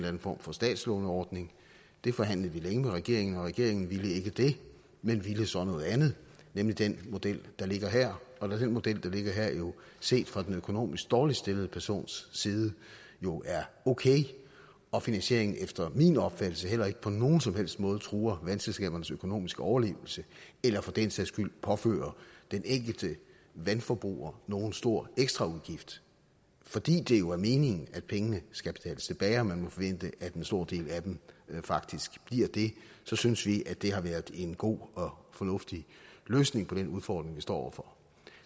anden form for statslåneordning det forhandlede vi længe med regeringen om og regeringen ville ikke det men ville så noget andet nemlig den model der ligger her og da den model der ligger her set fra den økonomisk dårligt stillede persons side jo er okay og finansieringen efter min opfattelse heller ikke på nogen som helst måde truer vandselskabernes økonomiske overlevelse eller for den sags skyld påfører den enkelte vandforbruger nogen stor ekstraudgift fordi det jo er meningen at pengene skal betales tilbage og man må forvente at en stor del af dem faktisk bliver det så synes vi at det har været en god og fornuftig løsning på den udfordring vi står over for